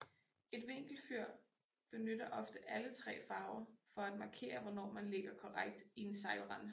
Et vinkelfyr benytter ofte alle tre farver for at markere hvornår man ligger korrekt i en sejlrende